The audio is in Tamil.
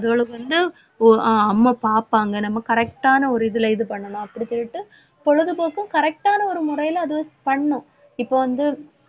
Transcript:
அதோட வந்து ஒ~ ஆஹ் அம்மா பாப்பாங்க நம்ம correct ஆன ஒரு இதுல இது பண்ணணும் அப்படி சொல்லிட்டு பொழுதுபோக்கும் correct ஆன ஒரு முறையில அது பண்ணும் இப்ப வந்து